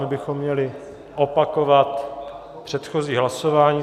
My bychom měli opakovat předchozí hlasování.